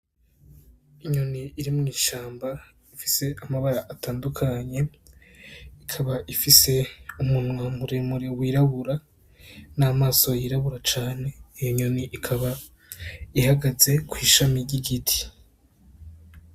Inyoni iri mw'ishamba ifise amabara atandukanye ikaba ifise umunwa muremure w'irabura n'amaso y'irabura cane iyo nyoni ikaba ihagaze kw'ishami ry'igiti.